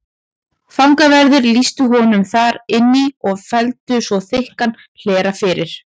Fangaverðir lýstu honum þar inn í og felldu svo þykkan hlera fyrir.